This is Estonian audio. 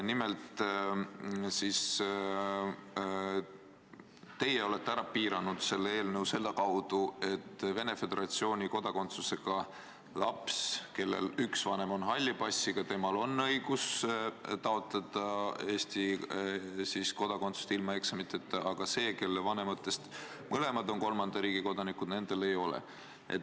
Nimelt, te olete selles eelnõus kirja pannud piirangu, et Venemaa Föderatsiooni kodakondsusega laps, kellel üks vanem on halli passiga, saab taotleda Eesti kodakondsust ilma eksamiteta, aga see, kelle vanemad mõlemad on kolmanda riigi kodanikud, seda ei saa.